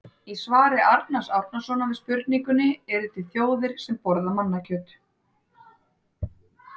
Í svari Arnars Árnasonar við spurningunni Eru til þjóðir sem borða mannakjöt?